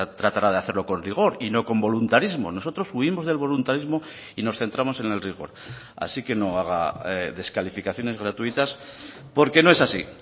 tratará de hacerlo con rigor y no con voluntarismo nosotros huimos del voluntarismo y nos centramos en el rigor así que no haga descalificaciones gratuitas porque no es así